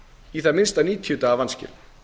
í það minnsta níutíu daga vanskilum